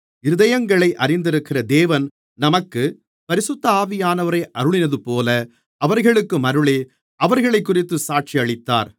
இருதயங்களை அறிந்திருக்கிற தேவன் நமக்கு பரிசுத்த ஆவியானவரை அருளினதுபோல அவர்களுக்கும் அருளி அவர்களைக்குறித்துச் சாட்சியளித்தார்